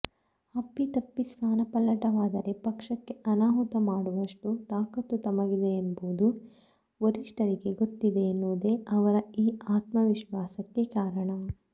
ಅಪ್ಪಿತಪ್ಪಿ ಸ್ಥಾನಪಲ್ಲಟವಾದರೆ ಪಕ್ಷಕ್ಕೆ ಅನಾಹುತ ಮಾಡುವಷ್ಟು ತಾಕತ್ತು ತಮಗಿದೆ ಎಂಬುದು ವರಿಷ್ಠರಿಗೆ ಗೊತ್ತಿದೆ ಎನ್ನುವುದೇ ಅವರ ಈ ಆತ್ಮವಿಶ್ವಾಸಕ್ಕೆ ಕಾರಣ